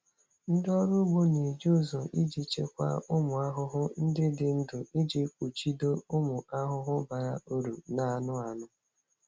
Ndị ọrụ ugbo na-eji ụzọ iji chịkwaa ụmụ ahụhụ ndị dị ndụ iji kpuchido ụmụ ahụhụ bara uru na anụ anụ.